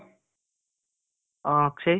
ಆ ಅಕ್ಷಯ್.